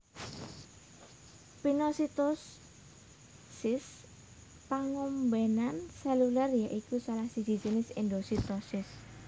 Pinositosis pangombenan seluler ya iku salah siji jinis endositosis